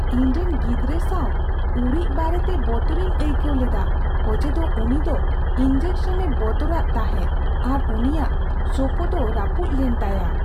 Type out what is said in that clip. ᱤᱧᱨᱮᱱ ᱜᱤᱫᱽᱨᱟᱹ ᱥᱟᱵ ᱩᱨᱤᱡ ᱵᱟᱨᱮᱛᱮ ᱵᱚᱛᱚᱨᱤᱧ ᱟᱹᱭᱠᱟᱹᱣ ᱞᱮᱫᱟ ᱚᱡᱮᱫᱚ ᱩᱱᱤ ᱫᱚ ᱤᱱᱡᱮᱠᱥᱚᱱ ᱮ ᱵᱚᱛᱚᱨᱟᱫ ᱛᱟᱦᱮᱸᱫ ᱟᱨ ᱩᱱᱤᱭᱟᱜ ᱥᱳᱯᱳ ᱫᱚ ᱨᱟᱹᱯᱩᱫ ᱞᱮᱱ ᱛᱟᱭᱟ ᱾